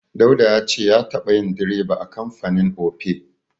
Dauda ya ce ya taɓa yin direba a kamfanin Opay.